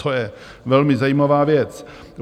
To je velmi zajímavá věc.